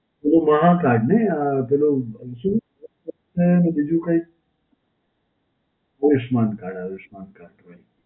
પેલું માઁ card નહીં. આ પેલું શું? અને ને બીજું કયું? Ayushman card, Ayushman card. right.